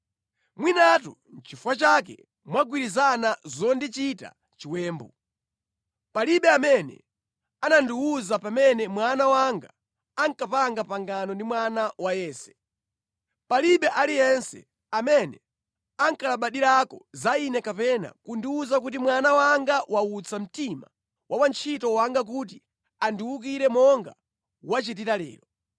Mwinatu nʼchifukwa chake mwagwirizana zondichita chiwembu. Palibe amene anandiwuza pamene mwana wanga ankapanga pangano ndi mwana wa Yese. Palibe aliyense amene ankalabadirako za ine kapena kundiwuza kuti mwana wanga wautsa mtima wa wantchito wanga kuti andiwukire monga wachitira lero.”